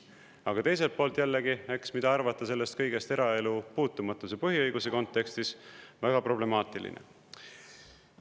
Aga teiselt poolt jällegi, eks, mida arvata sellest kõigest eraelu puutumatuse põhiõiguse kontekstis – väga problemaatiline.